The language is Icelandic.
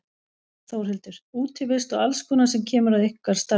Þórhildur: Útivist og alls konar sem kemur að ykkar starfi?